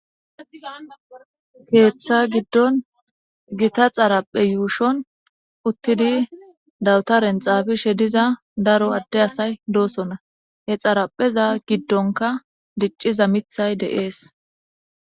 Keeththa giddon gita xaraphe yuushon uttidi dawuta renxabishe diza daro adde asay doosona he xarapheza giddonka dicciza mithay deees.